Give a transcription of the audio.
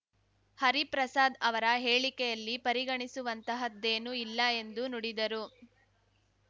ಹರಿಪ್ರಸಾದ್ ಅವರ ಹೇಳಿಕೆಯಲ್ಲಿ ಪರಿಗಣಿಸುವಂತಹದ್ದೇನೂ ಇಲ್ಲ ಎಂದು ನುಡಿದರು